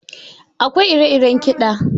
Akwai ire iren kiɗa.